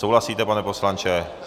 Souhlasíte, pane poslanče?